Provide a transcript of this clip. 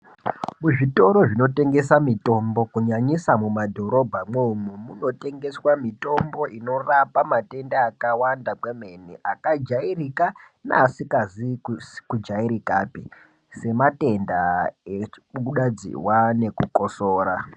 Kuzvitoro zvinotengesa mutombo kunyanyisa mumadhorobha mwo imomo munotengeswa mitombo inorapa matenda akawanda neamweni akajairika neasizi kujairikapi sematenda ekubuda dziwa nekukosora.